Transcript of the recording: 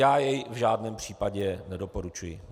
Já jej v žádném případě nedoporučuji.